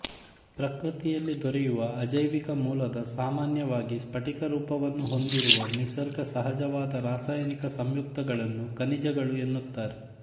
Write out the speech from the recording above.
ಪ್ರಕೃತಿಯಲ್ಲಿ ದೊರೆಯುವ ಅಜೈವಿಕ ಮೂಲದ ಸಾಮಾನ್ಯವಾಗಿ ಸ್ಪಟಿಕರೂಪವನ್ನು ಹೊಂದಿರುವ ನಿಸರ್ಗ ಸಹಜವಾದ ರಾಸಾಯನಿಕ ಸಂಯುಕ್ತಗಳನ್ನು ಖನಿಜಗಳು ಎನ್ನುತ್ತಾರೆ